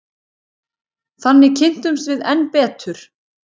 Þannig kynntumst við enn betur.